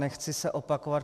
Nechci se opakovat.